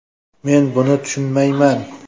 Men buni tushunmayman.